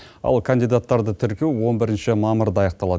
ал кандидаттарды тіркеу он бірінші мамырда аяқталады